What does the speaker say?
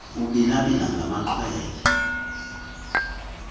kubhila bhilwa ngamaxhwele